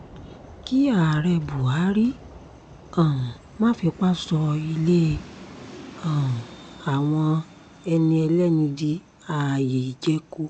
kí ààrẹ bahari um má fipá sọ ilé um àwọn ẹni ẹlẹ́ni di ààyè ìjẹko